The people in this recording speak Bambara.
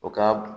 O ka